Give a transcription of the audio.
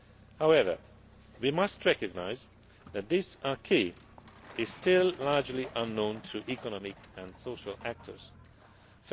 However, we must recognise that this acquis is still largely unknown to economic and social